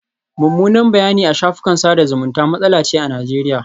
Mummunan bayanai a shafukan sada zumunta matsala ce a Najeriya.